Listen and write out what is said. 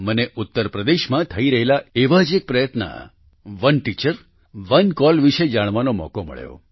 મને ઉત્તરપ્રદેશમાં થઈ રહેલા એવા જ એક પ્રયત્ન ઓને ટીચર ઓને કોલ વિશે જાણવાનો મોકો મળ્યો